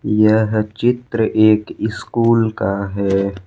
यह चित्र एक इस्कूल का है।